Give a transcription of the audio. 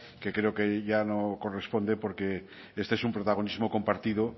que creo que ya no corresponde porque este es un protagonismo compartido